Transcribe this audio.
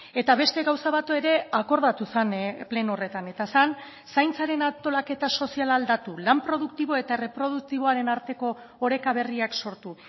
eta beste gauza bat ere akordatu zen pleno horretan eta zen zaintzaren antolaketa soziala aldatu lan produktibo eta erreproduktiboaren arteko oreka berriak sortu